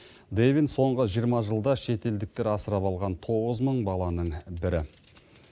дэвин соңғы жиырма жылда шетелдіктер асырап алған тоғыз мың баланың бірі